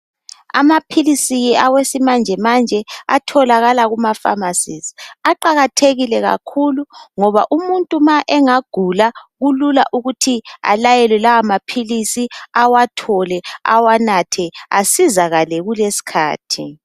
Amaphilisi awesimanjemanje atholakala kumafamasizi aqakathekile kakhulu ngoba umuntu ma engagula kulula ukuthi alayelwe lawamaphilisi awathole , awanathe asizakale kuleskhathi.